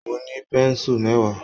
Mo ní pẹ̀nsu mẹwa